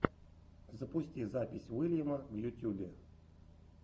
запусти запись уильяма в ютьюбе